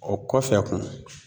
O kɔfɛ kun